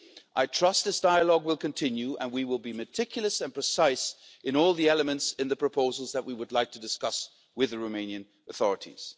I trust this dialogue will continue, and we will be meticulous and precise in all the elements of the proposals that we would like to discuss with the Romanian authorities.